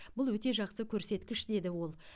бұл өте жақсы көрсеткіш деді ол